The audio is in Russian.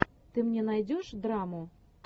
ты мне найдешь драму